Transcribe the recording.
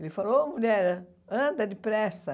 Ele falou, ô mulher, anda depressa.